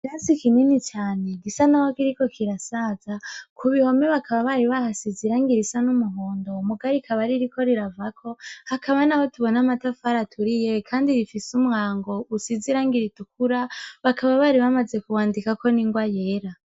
Rasi ikimini cane gisa na ho kiriko kirasaza ku bihome bakaba bari bahasizirango ira isa n'umuhundo umugarikabaririko riravako hakaba na ho tubona amatafara aturiye, kandi rifise umwango usizirangiritukura bakaba bari bamaze kuwandika ko ni ngoa yera.